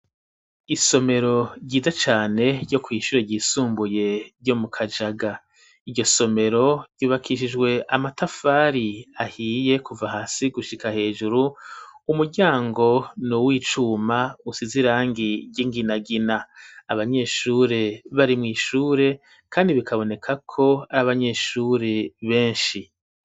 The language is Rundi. Isomero ryiza cane ryo kw'ishure ryisumbuye ryo mu kajaga iryo somero ryubakishijwe amatafari ahiye kuva hasi gushika hejuru umuryango ni uw' icuma usize i rangi ry'inginagina abanyeshure barimw'ishure, kandi bikaba bonekako abanyeshuri benshi.